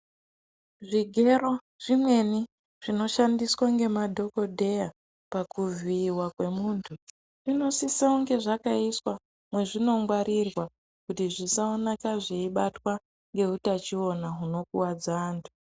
Zvigero zvimweni zvinoshandiswa ngemadhogodheya pakuvhiyiwa kwemuntu, zvinosisa kunge zvakaiswa mezvinongwarirwa kuti zvisawoneka zviyibatwa ngehutachiona hunokuwadza antu.